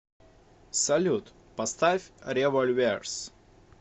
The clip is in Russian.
салют поставь револьверс